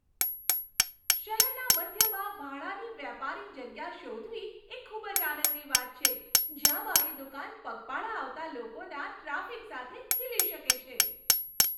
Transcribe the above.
શહેરના મધ્યમાં ભાડાની વ્યાપારી જગ્યા શોધવી એ ખૂબ જ આનંદની વાત છે, જ્યાં મારી દુકાન પગપાળા આવતા લોકોના ટ્રાફિક સાથે ખીલી શકે છે.